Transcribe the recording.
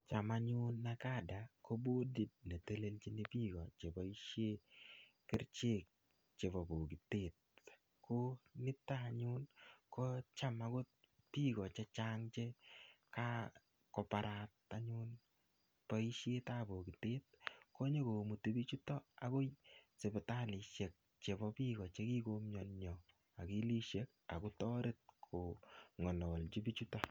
Cham anyun Nacada kobodit netelelchin biik cheboisien kerichek chebo bokitet. Ko nitoanyun ko cham agot biik che chang che kakobarat anyun boisietab bokitet komuch komuti biichuto agoi sipitalisiek chebo biikoche kikoumionyo agilisiek agotaret kongalalji biichuto.